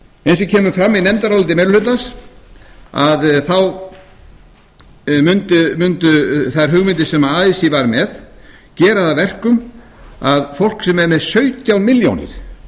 eins og kemur fram í nefndaráliti meiri hlutans mundu þær hugmyndir sem así var með gera það að verkum að fólk sem er með sautján milljónir